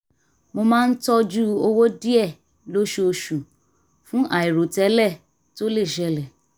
mo máa ń tọ́jú owó díẹ̀ lóṣooṣù fún àìròtẹ́lẹ̀ tó lè ṣẹlẹ̀